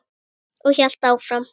Og hélt áfram: